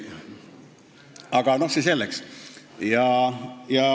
Aga see selleks.